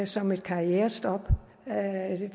som et karrierestop og